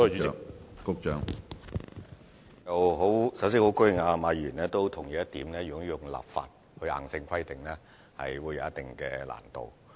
首先，我十分高興馬議員也同意，如果採用立法方式作硬性規定，是會有一定難度的。